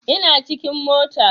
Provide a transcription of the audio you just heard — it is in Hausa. Ina cikin mota